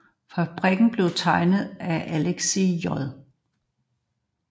Fabrikken blev tegnet af Alexis J